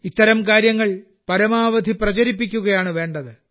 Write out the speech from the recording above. ഇത്തരം കാര്യങ്ങൾ പരമാവധി പ്രചരിപ്പിക്കുകയാണ് വേണ്ടത്